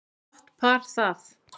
Gott par það.